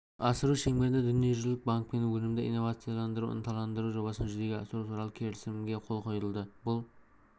асыру шеңберінде дүниежүзілік банкпен өнімді инновацияларды ынталандыру жобасын жүзеге асыру туралы келісімге қол қойды бұл